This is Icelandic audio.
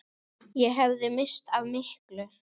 Ég hefði misst af miklu.